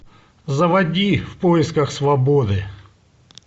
заводи в поисках свободы